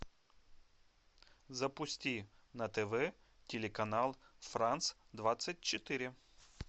запусти на тв телеканал франс двадцать четыре